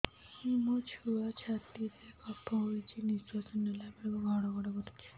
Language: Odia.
ମୋ ଛୁଆ ଛାତି ରେ କଫ ହୋଇଛି ନିଶ୍ୱାସ ନେଲା ବେଳେ ଘଡ ଘଡ କରୁଛି